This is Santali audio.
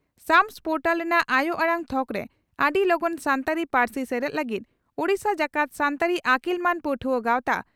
ᱥᱟᱢᱥ ᱯᱚᱨᱴᱟᱞ ᱨᱮᱱᱟᱜ ᱟᱭᱚ ᱟᱲᱟᱝ ᱛᱷᱚᱠᱨᱮ ᱟᱹᱰᱤ ᱞᱚᱜᱚᱱ ᱥᱟᱱᱛᱟᱲᱤ ᱯᱟᱹᱨᱥᱤ ᱥᱮᱞᱮᱫ ᱞᱟᱹᱜᱤᱫ ᱳᱰᱤᱥᱟ ᱡᱟᱠᱟᱛ ᱥᱟᱱᱛᱟᱲᱤ ᱟᱹᱠᱤᱞᱢᱟᱱ ᱯᱟᱹᱴᱷᱣᱟᱹ ᱜᱟᱣᱛᱟ